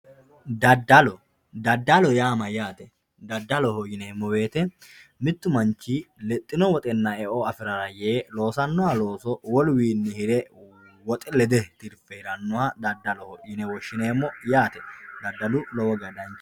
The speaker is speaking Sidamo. Dadallo, dadalloho yaa mayyatte, dadalloho yineemo woyite mitu manichi lexxinobwoxxenna e'o afirara yee loosanoha looso woluwiini hire woxe lede tirife hiranoha dadalloho yine woshineemo yaate dadallu lowo geesha danichaho